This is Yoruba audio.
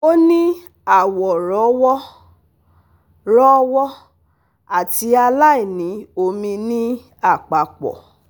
O ni awọ rọ́wọ́, rọ́wọ́ ati aláìní omi ni apapọ